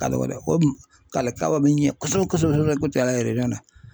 Ka dɔgɔ dɛ, o k'alikama bɛ ɲɛ kosɛbɛ kosɛbɛKucala na .